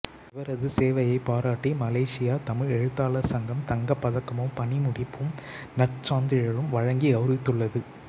இவரது சேவையைப்பாராட்டி மலேசியத் தமிழ் எழுத்தாளர் சங்கம் தங்கப் பதக்கமும் பணிமுடிப்பும் நற்சான்றிதழும் வழங்கி கௌரவித்துள்ளது